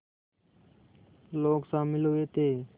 लोग शामिल हुए थे